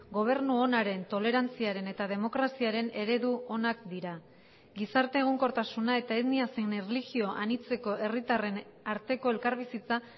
gobernu onaren tolerantziaren eta demokraziaren eredu onak dira gizarte egonkortasuna eta etnia zein erlijio anitzeko herritarren arteko elkarbizitza